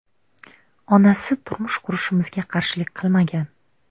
Onasi turmush qurishimizga qarshilik qilmagan.